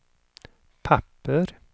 papper